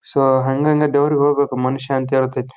So ಹಂಗಂಗಾ ದೇವ್ರಗ್ ಹೇಳ್ಬೇಕು ಮನುಷ್ಯ ಅಂತ ಹೇಳ್ತಾಯಿತಿ.